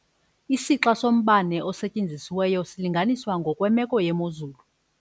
Isixa sombane osetyenzisiweyo silinganiswa ngokwemeko yemozulu.